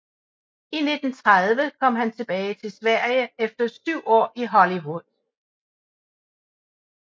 I 1930 kom han tilbage til Sverige efter syv år i Hollywood